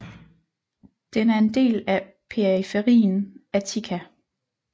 Den er en del af periferien Attica